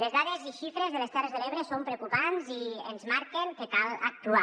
les dades i xifres de les terres de l’ebre són preocupants i ens marquen que cal actuar